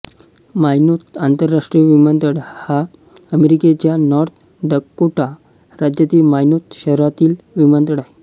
Minot आंतरराष्ट्रीय विमानतळ हा अमेरिकेच्या नॉर्थ डकोटा राज्यातील मायनोत शहरातील विमानतळ आहे